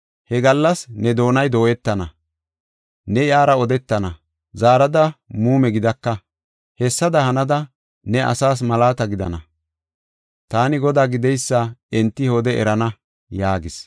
He gallas ne doonay dooyetana; ne iyara odetana; zaarada muume gidaka. Hessada hanada, ne asaas malaata gidana. Taani Godaa gideysa enti he wode erana” yaagis.